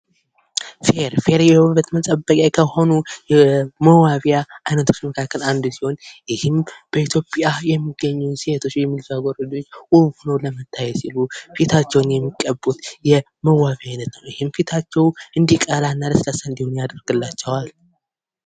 ፌር:- ፌር የዉበት መጠበቂያ ከሆኑ መዋቢያ አይነቶች መካከል አንዱ ሲሆን ይህም በኢትዮጵያ የሚገኙ ሴቶች ወይም ልጃገረዶች ዉብ ሆኖ ለመታየት ሲሉ ፊታቸዉን የሚቀቡት የመዋቢያ አይነት ነዉ። ይሄም ቀላ እና ለስላሳ እንዳሆን ያደርግላቸዋል።